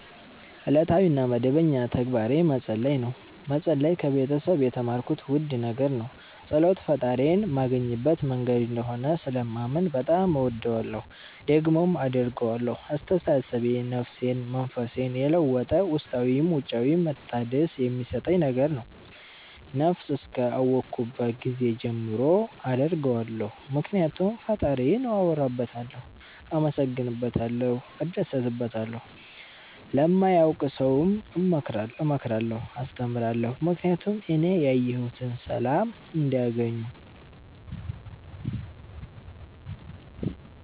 እለታዊ እና መደበኛ ተግባሬ መፀለይ ነው። መፀለይ ከቤተሰብ የተማርኩት ውድ ነገር ነው። ፀሎት ፈጣሪዬን ማገኝበት መንገድ እንደሆነ ስለማምን በጣም እወደዋለሁ። ደግሞም አደርገዋለሁ አስተሳሰቤን፣ ነፍሴን፣ መንፈሴን የለወጠ ውስጣዊም ውጫዊም መታደስ የሚሠጠኝ ነገር ነው። ነብስ እስከ አወኩባት ጊዜ ጀምሮ አደርገዋለሁ ምክኒያቱም ፈጣሪዬን አወራበታለሁ፣ አመሠግንበታለሁ፣ እደሠትበታለሁ። ለማያውቅ ሠውም እመክራለሁ አስተምራለሁ ምክኒያቱም እኔ ያየሁትን ሠላም እንዲያገኙ